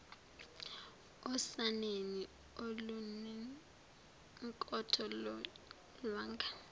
osaneni olunenkotho yolwanga